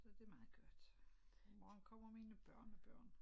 Så det meget godt i morgen kommer mine børnebørn